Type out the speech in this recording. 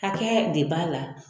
Hakɛ de b'a la.